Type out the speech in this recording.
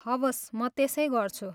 हवस्, म त्यसै गर्छु।